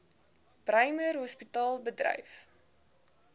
bremer hospitaal bedryf